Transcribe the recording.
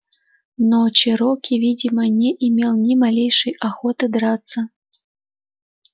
но чероки видимо не имел ни малейшей охоты драться